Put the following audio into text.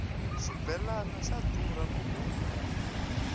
xibelani xa durha ku rhunga